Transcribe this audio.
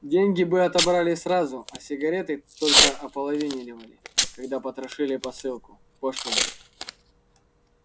деньги бы отобрали сразу а сигареты только ополовинивали когда потрошили посылку пошлина